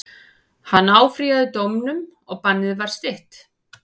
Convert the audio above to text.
Hann áfrýjaði dómnum og bannið var stytt.